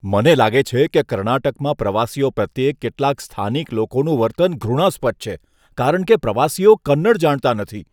મને લાગે છે કે કર્ણાટકમાં પ્રવાસીઓ પ્રત્યે કેટલાક સ્થાનિક લોકોનું વર્તન ઘૃણાસ્પદ છે કારણ કે પ્રવાસીઓ કન્નડ જાણતા નથી.